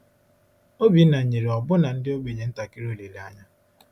Obinna nyere ọbụna ndị ogbenye ntakịrị olileanya.